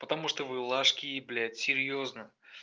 потому что вы лошки блядь серьёзно